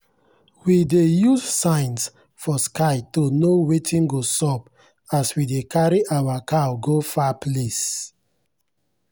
we dey use signs for sky to know wetin go sup as we dey carry our cow go far place.